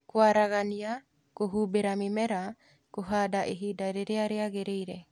kwaragania, kũhumbĩra mĩmera, kũhanda ihinda rĩrĩa rĩagĩrĩire